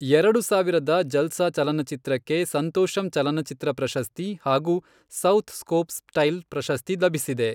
ಎರಡು ಸಾವಿರದ ಜಲ್ಸ ಚಲನಚಿತ್ರಕ್ಕೆ ಸಂತೊಷಂ ಚಲನಚಿತ್ರ ಪ್ರಶಸ್ತಿ ಹಾಗೂ ಸೌಥ್ ಸ್ಕೊಪ್ ಸ್ಟೈಲ್ ಪ್ರಶಸ್ತಿ ಲಭಿಸಿದೆ.